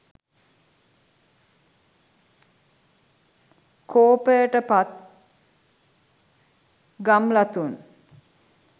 කෝපයට පත් ගම්ලතුන්